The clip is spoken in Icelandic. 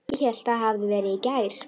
Ég hélt það hefði verið í gær.